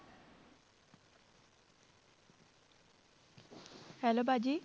Hello ਬਾਜੀ